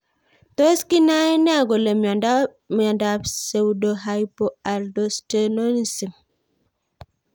Tos kinae nee kole miondop pseudohypoaldosteronism